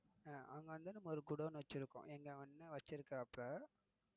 அங்க வந்து நம்ம ஒரு குடோன் வச்சிருக்கோம் எங்க அண்ணன் வச்சிருக்காப்புல.